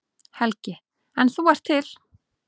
Helgi: En þú ert til?